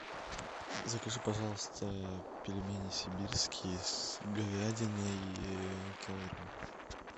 закажи пожалуйста пельмени сибирские с говядиной килограмм